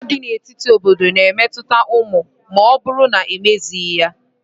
Agha dị n'etiti obodo na obodo na-emetụta ụmụ ma ọ bụrụ na ekpezighi ya.